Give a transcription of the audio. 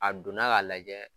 A donna k'a lajɛ